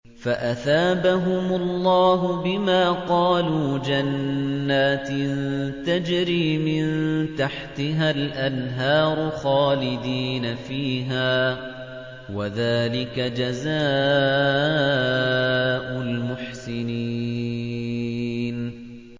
فَأَثَابَهُمُ اللَّهُ بِمَا قَالُوا جَنَّاتٍ تَجْرِي مِن تَحْتِهَا الْأَنْهَارُ خَالِدِينَ فِيهَا ۚ وَذَٰلِكَ جَزَاءُ الْمُحْسِنِينَ